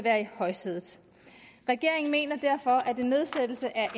er i højsædet regeringen mener derfor at en nedsættelse af